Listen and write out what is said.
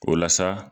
O la sa